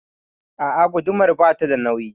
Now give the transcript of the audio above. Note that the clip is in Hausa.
A'a gudumar bata da nauyi.